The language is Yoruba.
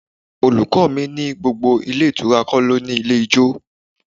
My teacher said not all hotel has a bar.